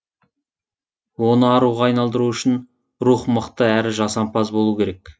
оны аруға айналдыру үшін рух мықты әрі жасампаз болу керек